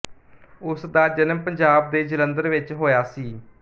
ਉਸਦਾ ਜਨਮ ਪੰਜਾਬ ਦੇ ਜਲੰਧਰ ਵਿੱਚ ਹੋਇਆ ਸੀ